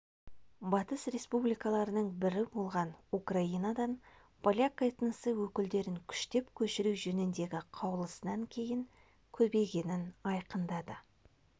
батыс республикаларының бірі болған украинадан поляк этносы өкілдерін күштеп көшіру жөніндегі қаулысынан кейін көбейгенін айқындады